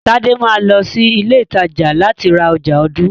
Tade máa lọ sí ilé ìtajà láti ra ọjà ọdún.